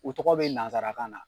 U tɔgɔ bɛ nazarakan na.